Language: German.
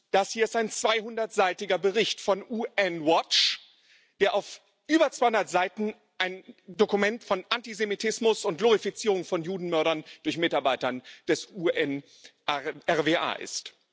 Das hier ist ein 200 seitiger Bericht von UN Watch, der auf über 200 Seiten ein Dokument von Antisemitismus und Glorifizierung von Judenmördern durch Mitarbeiter des UNRWA ist.